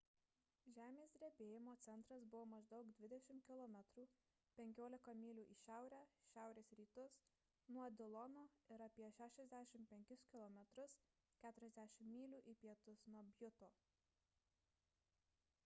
žemės drebėjimo centras buvo maždaug 20 km 15 mylių į šiaurę-šiaurės rytus nuo dilono ir apie 65 km 40 mylių į pietus nuo bjuto